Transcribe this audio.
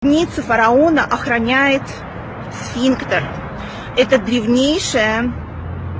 фараона охраняет сфинктер это древнейшее